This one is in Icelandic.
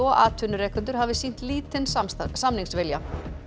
atvinnurekendur hafi sýnt lítinn samningsvilja